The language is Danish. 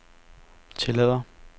tillader